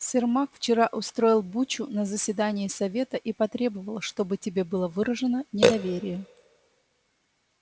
сермак вчера устроил бучу на заседании совета и потребовал чтобы тебе было выражено недоверие